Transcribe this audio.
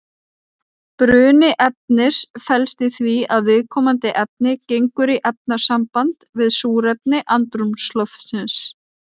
Bruni efnis felst í því að viðkomandi efni gengur í efnasamband við súrefni andrúmsloftsins.